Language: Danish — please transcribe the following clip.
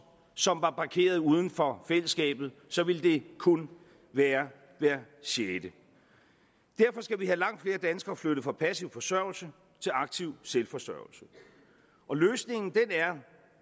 som var parkeret uden for fællesskabet så ville det kun være hver sjette derfor skal vi have langt flere danskere flyttet fra passiv forsørgelse til aktiv selvforsørgelse og løsningen